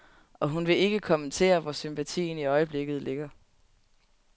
Og hun vil ikke kommentere, hvor sympatien i øjeblikket ligger.